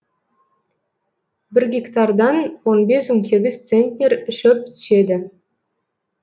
бір гектардан он бес он сегіз центнер шөп түседі